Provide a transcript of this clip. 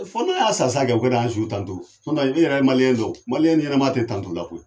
Fo n'a y'a sa sa kɛ o ka na an su tanto e yɛrɛ ya dɔn o ɲɛnama tɛ tanto la o.